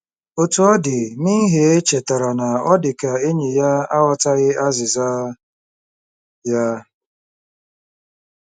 Otú ọ dị, Minhee chetara na ọ dị ka enyi ya aghọtaghị azịza ya.